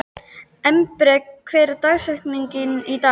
Embrek, hver er dagsetningin í dag?